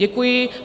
Děkuji.